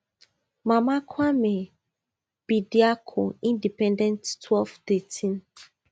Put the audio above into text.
mama kwame bediako independent twelve thirteen